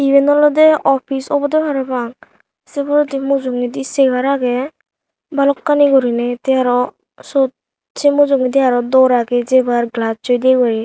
iben olode office obode parapang se poredi mujungedi chair aage bhalokkani guriney te aro sot se mujungedi aro door aage jebar glass oi di guri.